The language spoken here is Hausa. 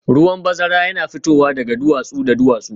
Ruwan bazara yana fitowa daga duwatsu da duwatsu